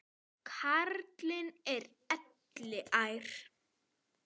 Karlinn er elliær.